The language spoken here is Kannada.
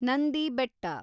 ನಂದಿ ಬೆಟ್ಟ